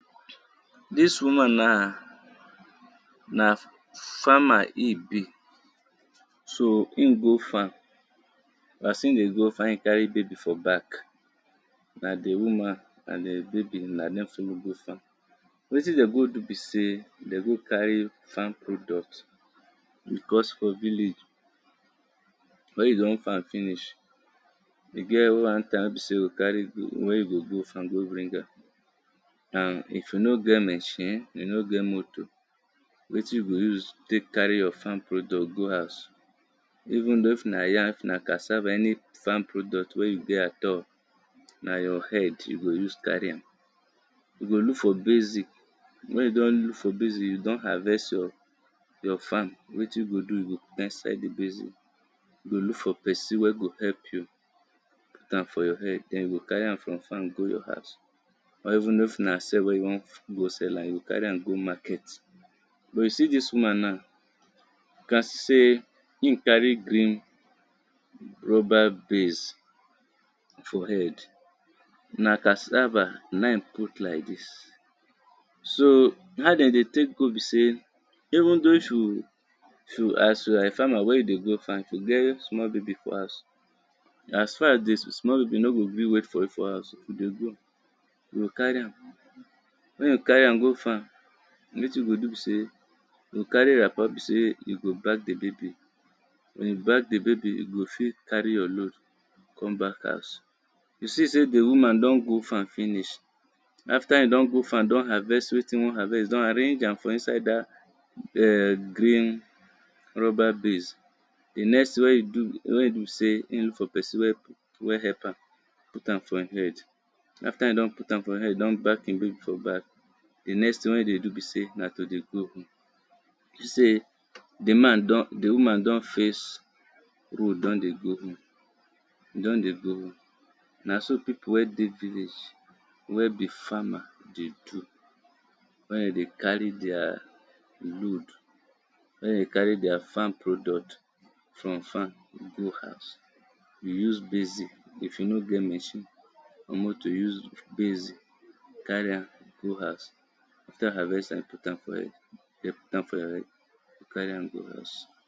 Dis woman na na farmer in be, so in dey go farm as in dey go farm in carry in baby for back. Na di woman and di baby na im go farm, wetin dem go do be sey dem go carry farm product. Because for village wen you don farm finish, e get one time wen be sey you go carry go bring am and if you no get machine you no get motor, wetin you go use cary your farm product go house, even though if na yam if na cassava any farm product wey you get all na your head, you go use carry am, you go look for basin, wen you don look for basin you don harvest your farm wetin you go do you go put for inside di basin, you go look for person wen go help you put am for your head den you go carry am go your house or even though if na sell wen you wan sell am, you go carry am go market. You see dis woman now ma sey in carry dis rubber basin for head, na cassava na im put like dis. So how dem dey take go be say, even though you are a you are farmer as you wan go if you get small baby for house as for di small baby nor go gree wait for you for house, you go go, you go carry am go farm wen you carry am go farm wetin you go do be sey, you go carry wrapper wen you go use back di baby, wen you back di baby, you go fit carry you load come back house. You see sey di woman don go farm finish after in don go farm, don harvest wetin, in harvest on arrange am for inside dat [urn] green rubber base, di next thing wen in do be sey she look for person wen help am, put am for in head, after in don put am for in head don back in baby for back, di next thing wen in dey do be sey na to dey go home, you see sey di man don, di woman don face home, don dey go home, e don dey go home, na so people wen dey village wen be farmer dey do, wen dem dey carry their wood, wen dem dey carry their farm product from farm dey go house. You use basin, if you no get machine, you need to use basin carry am am go house, after you odn harvest am put am for head, put am for your head, den you carry am go house.